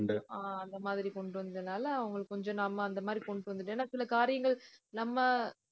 அஹ் அந்த மாதிரி கொண்டு வந்ததுனால, அவங்களுக்கு கொஞ்சம் நாம அந்த மாதிரி கொண்டுட்டு வந்துட்டேன். ஏன்னா சில காரியங்கள் நம்ம